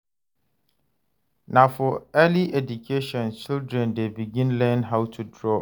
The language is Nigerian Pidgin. Na for early education children dey begin learn how to draw.